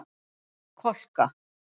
Kolka